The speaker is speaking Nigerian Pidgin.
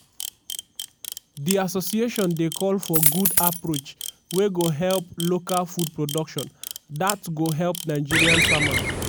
di association dey call for good approach wey go help local food production dat go help nigerian farmers.